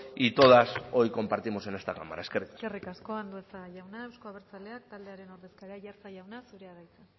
y todas hoy compartimos en esta cámara eskerrik asko eskerrik asko andueza jauna euzko abertzaleak taldearen ordezkaria aiartza jauna zurea da hitza